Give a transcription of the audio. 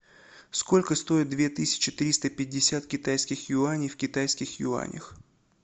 сколько стоит две тысячи триста пятьдесят китайских юаней в китайских юанях